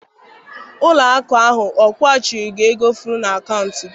Ụlọ akụ ahụ ọ kwụghachiri gị ego efu na akaụntụ gị?